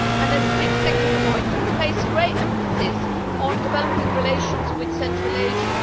A quick second point you place great emphasis on developing relations with Central Asia.